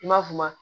I m'a f'u ma